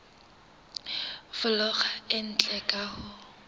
folaga e ntle ka ho